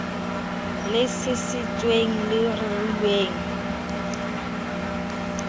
le sisintsweng le rerilweng mohl